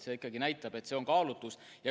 See ikkagi näitab, et see on kaalutlusotsus.